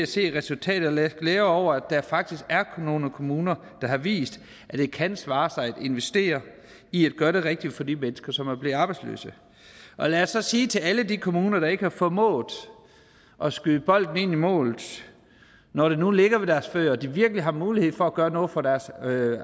se resultatet lad os glæde os over at der faktisk er nogle kommuner der har vist at det kan svare sig at investere i at gøre det rigtige for de mennesker som er blevet arbejdsløse og lad os så sige til alle de kommuner der ikke har formået at skyde bolden ind i målet når den nu ligger ved deres fødder og de virkelig har mulighed for at gøre noget for deres